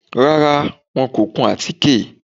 Rárá, wọn kò kun àtíké